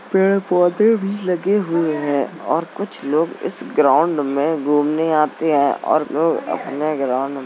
पेड़ पौधे भी लगे हुए हैं और कुछ लोग इस ग्राउंड में घूमने आते हैं और लोग अपने ग्राउंड में --